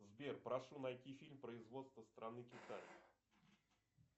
сбер прошу найти фильм производства страны китай